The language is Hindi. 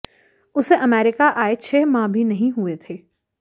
उसे अमेरिका आए छह माह भी नहीं हुए थे